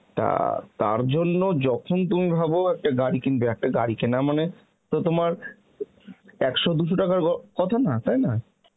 তা তার জন্য যখন তুমি ভাব একটা গাড়ি কিনবে, একটা গাড়ি কেনা মানে তো তোমার একশো দু'শো টাকার গ~ কথা না তাই না